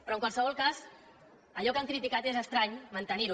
però en qualsevol cas allò que han criticat és estrany mantenir ho